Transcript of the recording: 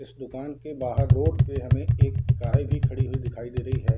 इस दुकान के बाहर रोड पे हमें एक कार भी खड़ी दिखाई दे रही है।